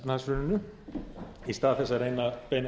frú forseti mig langar fyrst að